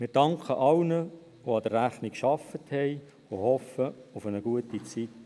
Wir danken allen, die an der Rechnung gearbeitet haben, und hoffen auf eine gute Zeit.